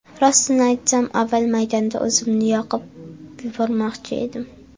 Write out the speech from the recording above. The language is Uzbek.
Rostini aytsam, avval maydonda o‘zimni yoqib yubormoqchi edim.